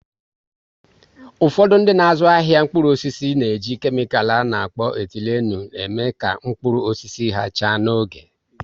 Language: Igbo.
Ụfọdụ dị n'azụ ahịa mkpụrụ osisi n'eji kemical a na-akpọ "etilenu" eme ka mkpụrụ osisi ha chaa n'oge